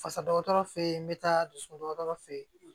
Fasa dɔgɔtɔrɔ feyi n be taa dusu dɔgɔtɔrɔ fe fe yen